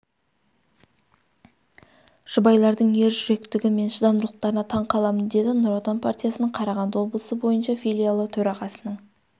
жұбайлардың ержүректігі мен шыдамдылықтарына таң қаламын деді нұр отан партиясының қарағанды облысы бойынша филиалы төрағасының